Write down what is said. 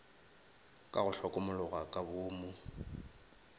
ka go hlokomologa ka boomo